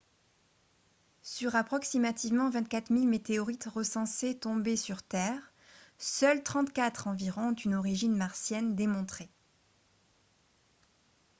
sur approximativement 24 000 météorites recensées tombées sur terre seules 34 environ ont une origine martienne démontrée